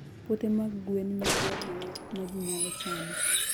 Puothe mag gwen nyago ring'o ma ji nyalo chamo.